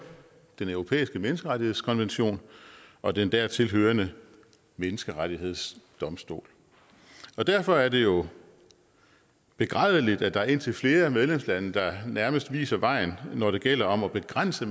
den europæiske menneskerettighedskonvention og den dertil hørende menneskerettighedsdomstol derfor er det jo begrædeligt at der er indtil flere medlemslande der nærmest viser vejen når det gælder om at begrænse